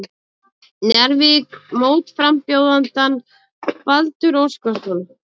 Njarðvík mótframbjóðandann Baldur Óskarsson.